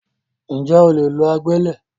Ǹjẹ́ o lè lo agbẹ́lẹ̀?